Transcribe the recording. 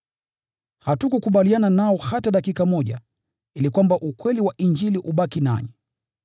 hatukukubaliana nao hata dakika moja, ili kwamba ukweli wa Injili ubaki nanyi.